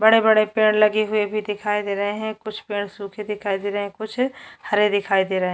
बड़े बड़े पेड़ लगे हुए भी दिखाई दे रहे है कुछ पेड़ सूखे दिखाई दे रहे है कुछ हरे दिखाई दे रहे है।